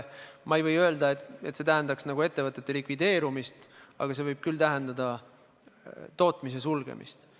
Ma ei või öelda, et see tähendaks ettevõtete likvideerumist, aga see võib tähendada tootmise sulgemist.